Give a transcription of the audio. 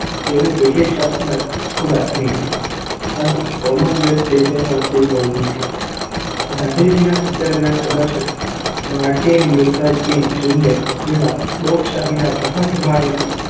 તેવી બ્રિટીશ સલ્તનત ખુદ આથમી ગઈ અને કોમનવેલ્થ દેશોનું અસ્તિત્વ ઊભું થયું. ગાંધીજીના સત્યાગ્રહના આદર્શે માર્ટીન લ્યૂથર કિંગ જુનિયર જેવા લોકશાહીના પ્રખર હિમાયતી